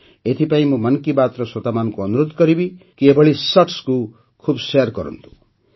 ଏଥିପାଇଁ ମୁଁ ମନ୍ କି ବାତ୍ର ଶ୍ରୋତାମାନଙ୍କୁ ଅନୁରୋଧ କରିବି କି ଏଭଳି shortକୁ ଖୁବ୍ ଶେୟାର କରନ୍ତୁ